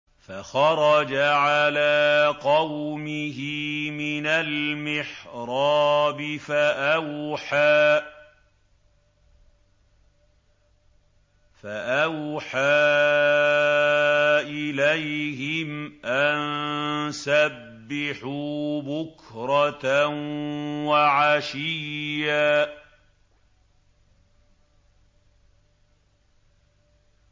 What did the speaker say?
فَخَرَجَ عَلَىٰ قَوْمِهِ مِنَ الْمِحْرَابِ فَأَوْحَىٰ إِلَيْهِمْ أَن سَبِّحُوا بُكْرَةً وَعَشِيًّا